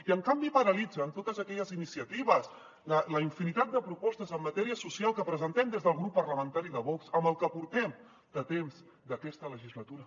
i en canvi paralitzen totes aquelles iniciatives la infinitat de propostes en matèria social que presentem des del grup parlamentari de vox en el que portem de temps d’aquesta legislatura